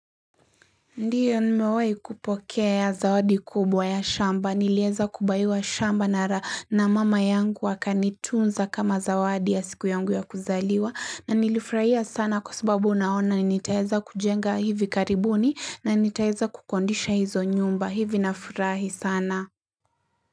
Ndiyo nimewai kupokea zawadi kubwa ya shamba. Nileza kubaiwa shamba na na mama yangu wakani tunza kama zawadi ya siku yangu ya kuzaliwa na nilifurahia sana kwa sababu unaona ni nitaeza kujenga hivi karibuni na nitaeza kukondisha hizo nyumba. Hivi na furahi sana.